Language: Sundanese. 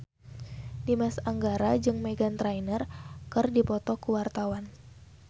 Dimas Anggara jeung Meghan Trainor keur dipoto ku wartawan